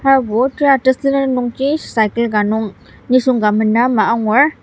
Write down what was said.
harbo tera tesülen nungji cycle ka nung nisung ka mena ama angur.